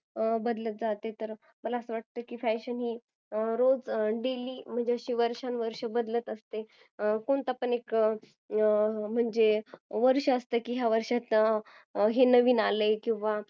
बदलत जाते मला असं वाटतं की fashion हे रोज daily म्हणजे वर्षांवर्ष बदलत असते कोणता पण एक म्हणजे वर्ष असतं की या वर्षाचे हे नवीन असतं